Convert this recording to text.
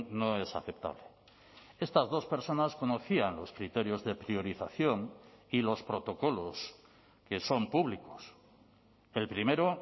no es aceptable estas dos personas conocían los criterios de priorización y los protocolos que son públicos el primero